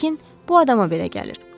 Lakin bu adama belə gəlir.